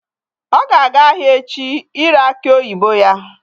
Ọ ga-aga ahịa echi ire akị oyibo ya